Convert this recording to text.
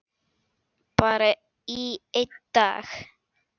Bara í einn dag.